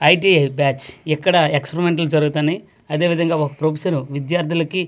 ITI batch ఎక్కడ ఎక్స్పరిమెంట్లు జరుగుతున్నాయి అదే విధంగా ఒక ప్రొఫెసర్ విద్యార్థులకి--